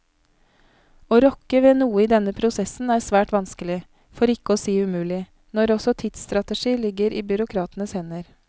Å rokke ved noe i denne prosessen er svært vanskelig, for ikke å si umulig, når også tidsstrategi ligger i byråkratenes hender.